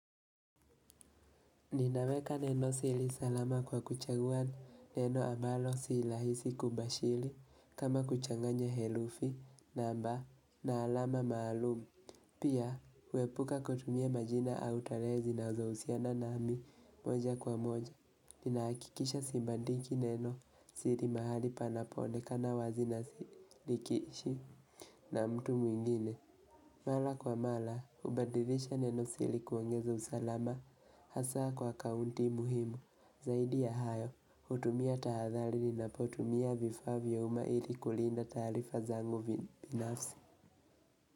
Ninaweka neno siri salama kwa kuchagua neno ambalo si rahisi kubashiri kama kuchanganya herufi namba na alama maalumu. Pia, kuepuka kutumia majina au tarehe zinazohusiana nami moja kwa moja. Nina hakikisha sibandiki neno siri mahali panapo onekana wazi na nikiishi na mtu mwingine. Mara kwa mara, hubadilisha neno siri kuongeza usalama, hasa kwa akaunti muhimu, zaidi ya hayo, hutumia tahadhari ninapotumia vifaa vya umahiri kulinda taarifa zangu binafsi.